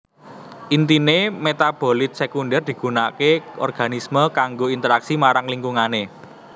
Intine metabolit sekunder digunakake organisme kanggo interaksi marang lingkungane